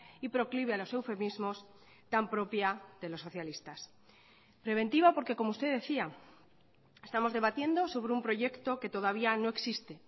y proclive a los eufemismos tan propia de los socialistas preventiva porque como usted decía estamos debatiendo sobre un proyecto que todavía no existe